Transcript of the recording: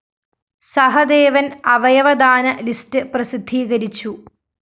സഹദേവന്‍ അവയവദാന ലിസ്റ്റ്‌ പ്രസിദ്ധീകരിച്ചു